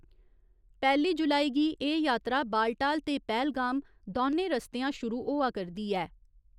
पैह्‌ली जुलाई गी एह् यात्रा बालटाल ते पैह्‌लगाम दौनें रस्तेआं शुरू होआ करदी ऐ।